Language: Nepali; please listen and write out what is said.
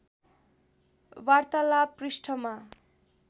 वार्तालाप पृष्ठमा